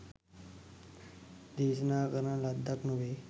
දේශනා කරන ලද්දක් නොවේ.